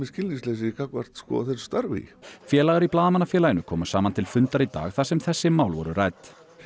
skilningsleysi gagnvart þessu starfi félagar í Blaðamannafélaginu komu saman til fundar í dag þar sem þessi mál voru rædd